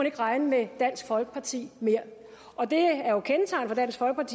ikke regne med dansk folkeparti mere det